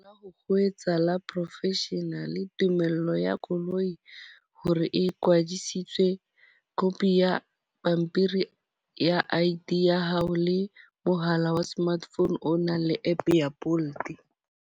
Ha ho etsahala professional, tumello ya koloi hore e kwadisitse, copy ya pampiri ya I_D ya hao le mohala wa smart phone o nang le app ya Bolt.